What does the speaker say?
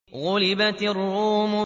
غُلِبَتِ الرُّومُ